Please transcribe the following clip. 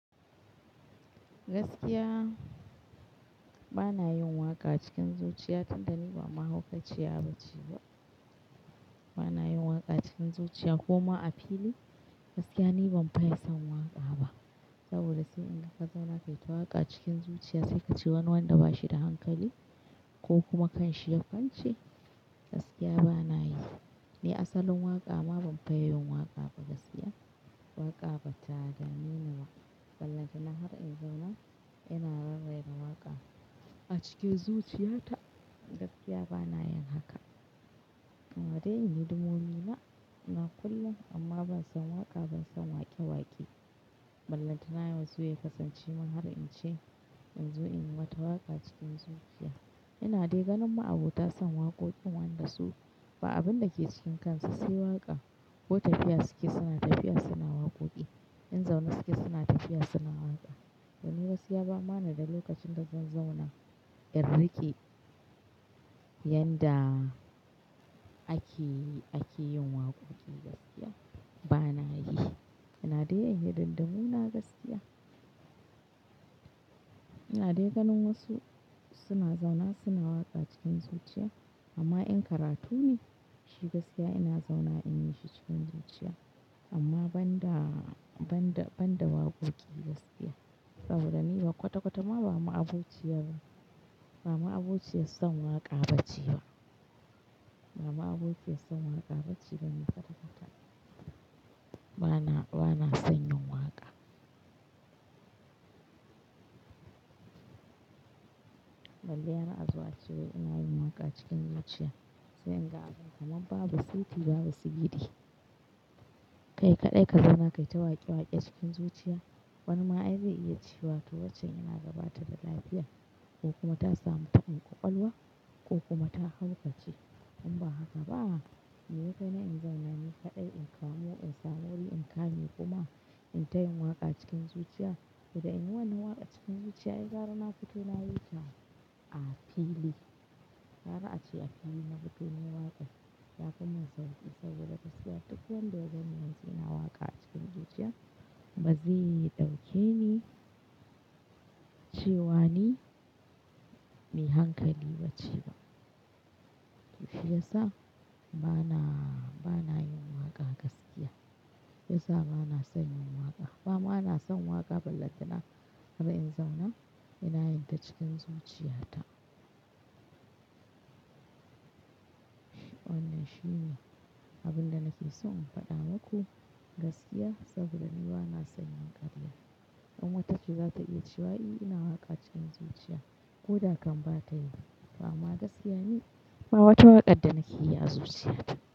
Gaskiya bana yin waƙa cikin zuciya tunda ni ba mahaukaciya ba ce ba. Bana yin waƙa cikin zuciya koma a fili, gaskiya ni ban ma yin son waƙa ba. Saboda sai in kaza na kai ta waƙa cikin zuciya sai ka ce wani wanda bashi da hankali ko kuma kanshi ya farce gaskiya bana yi. Ni asalin waƙa ma ban fa yi waƙa ba gaskiya. Waƙa ba ta dame ni ba. Ballanta na har in zauna ina rarraye da waƙa a cikin zuciyata gaskiya bana yin haka. Amma dai in yi hidimomi na, ina kullum amma ban san waƙa ban san waƙe-waƙe. Ballanta nayi wasu ya kasance mun har in ce in zo in wata waƙa cikin zuciya. Ina daganin ma abota san waƙoƙin wanda su ba abin da ke cikinsa sai waƙa ko tafiya suke sana tafiya suna waƙoƙi. In zaune suke sana tafiya suna waƙa. Domin gaskiya ba mana da lokacin dazan zauna in riƙe, yanda, ake, ake yin waƙoƙi gaskiya bana yi. Ina dai in yi dindimuna gaskiya. Ina daganin wasu suna zauna suna waƙa cikin zuciya amma in karatu ne shi gaskiya ina zauna in yi shi cikin zuciya. Amma ban da, ban da, ban da waƙoƙi gaskiya. Ba su da niyya kwata-kwata ma ba ma a ziciya bane. Ba ma abociyan san waƙa ba ce ba. Ba ni abokiyar san waƙa ba ce ba ne kwata-kwata. Bana, bana son yin waƙa. Ballai har a zo a ce wai ina yin waƙa cikin zuciya sai in ga kama ba basiti ba basigidi. Kai kaɗai ka zama kai ta waƙe-waƙe cikin zuciya. Wani ma ai zai iya cewa toh wancen yana ga bata da lafiya ko kuma ta samu tabin ƙwaƙwalwa ko kuma ta haukace. In ba haka ba Mei ya kai na in zauna ni kaɗai in kamo in sa muri in ƙanye kuma in tayi waƙa cikin zuciya? Toh dai in yi wannan waƙa cikin zuciya ai gara na fito nayi ta a fili. Gara a ce a fili na fito ne waƙar ya kuma sauƙi saboda gaskiya duk wanda ya ga ni yanzu yana waƙa cikin zuciya bazai ɗauke ni cewa ni mai hankali ba ce ba. Toh shi ya sa bana, bana yin waƙa gaskiya. Ya sa bana son yin waƙa. Ba ma bana son waƙa ballanta na har in zauna ina yin ta cikin zuciyata. Wannan shi ne abin da nake so in faɗa maku gaskiya saboda ni ba na son in yi ƙarya. In wata ce za ta iya cewa eh ina waƙa cikin zuciya ko da kan ba ta yi. Ba ma gaskiya ne. Ba wata waƙar da nake yi a zuciyata.